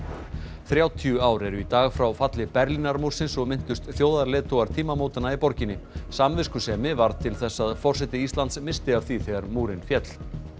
þrjátíu ár eru í dag frá falli Berlínarmúrsins og minntust þjóðarleiðtogar tímamótanna í borginni samviskusemi varð til þess að forseti Íslands missti af því þegar múrinn féll